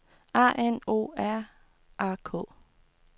A N O R A K